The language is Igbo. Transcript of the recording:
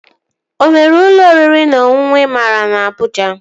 O nwere ụlọ oriri na ọṅụṅụ ị maara na Abụja?